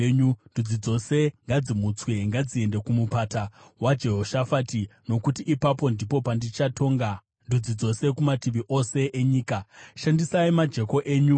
“Ndudzi dzose ngadzimutswe; ngadziende kuMupata waJehoshafati, nokuti ipapo ndipo pandichagara pasi kuti nditonge ndudzi dzose kumativi ose enyika.